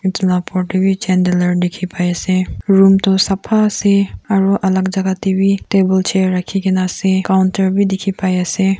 etu la oper te bi dikhi pai ase room tu sapha ase aru alak jaka te bi table chair rakhi kene ase counter bi dikhi pai ase.